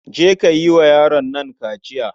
Je ka yi wa yaron nan kaciya.